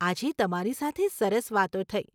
આજે તમારી સાથે સરસ વાતો થઇ.